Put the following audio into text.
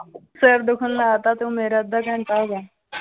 ਸਿਰ ਦੁਖਣ ਲਾ ਤਾ ਤੂੰ ਮੇਰਾ ਅੱਧਾ ਘੰਟਾ ਹੋ ਗਿਆ l